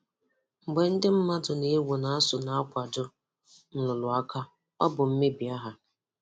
Mgbe ndị mmadụ na-ewu na ASUU na-akwado nrụrụ aka, ọ bụ mmebi áhà.